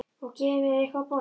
Og gefi mér eitthvað að borða.